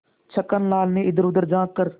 छक्कन लाल ने इधरउधर झॉँक कर